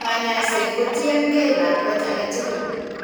Kanyaiset ko tien gee lakwet aketugul